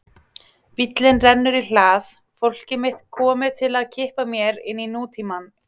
Bíllinn rennur í hlað, fólkið mitt komið til að kippa mér inn í nútímann.